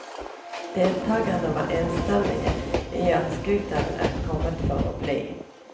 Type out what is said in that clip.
Deltagerne var enstemmig i at scooteren er kommet for å bli.